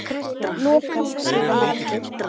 Að farast?